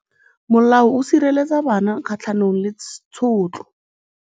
Molao o sireletsa bana kgatlhanong le tshotlo.